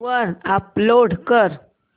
वर अपलोड कर